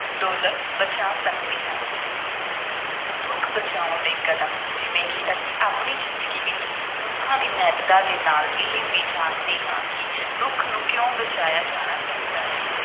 Dollar ਬਚਾ ਸਕਦੇ ਹਨ ਰੁੱਖ ਬਚਾਉਣ ਦੇ ਕਦਮ ਜਿਵੇਂ ਕਿ ਅਸੀਂ ਆਪਣੀ ਜ਼ਿੰਦਗੀ ਵਿੱਚ ਰੁੱਖਾਂ ਦੀ ਮਹੱਤਤਾ ਦੇ ਨਾਲ ਇਹ ਵੀ ਜਾਣਦੇ ਹਾਂ ਕਿ ਰੁੱਖ ਨੂੰ ਕਿਉਂ ਬਚਾਇਆ ਜਾਣਾ ਚਾਹੀਦਾ ਹੈ।